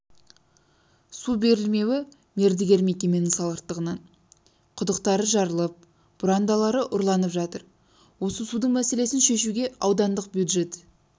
су берілмеуі мердігер мекеменің салғырттығынан құдықтары жарылып бұрандалары ұрланып жатыр осы судың мәселесін шешуге аудандық бюджет